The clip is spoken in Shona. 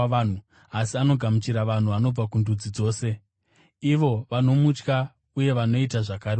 asi anogamuchira vanhu vanobva kundudzi dzose, ivo vanomutya uye vanoita zvakarurama.